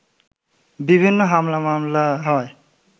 বিভিন্ন হামলা মামলা হওয়ায়